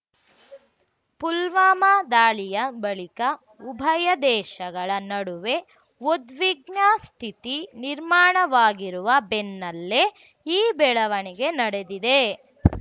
ಪುಲ್ವಾಮಾ ದಾಳಿಯ ಬಳಿಕ ಉಭಯ ದೇಶಗಳ ನಡುವೆ ಉದ್ವಿಗ್ನ ಸ್ಥಿತಿ ನಿರ್ಮಾಣವಾಗಿರುವ ಬೆನ್ನಲ್ಲೇ ಈ ಬೆಳವಣಿಗೆ ನಡೆದಿದೆ